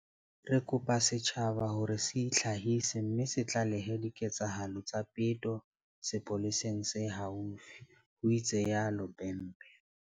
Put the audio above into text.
Re kopa setjhaba ho re se itlhahise mme se tlalehe diketsahalo tsa peto sepoleseng se haufi, ho itsalo Bhembe.